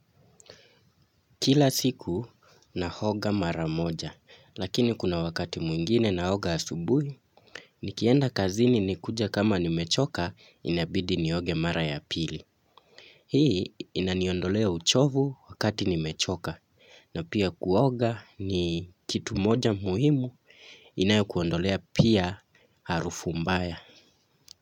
Kila siku naoga mara moja, lakini kuna wakati mwingine naoga asubuhi, nikienda kazini nikuje kama nimechoka inabidi nioge mara ya pili. Hii inaniondolea uchovu wakati nimechoka na pia kuoga ni kitu moja muhimu inayo kuondolea pia harufu mbaya.